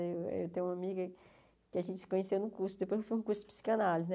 Eu eu tenho uma amiga que a gente se conheceu no curso, depois foi um curso de psicanálise né.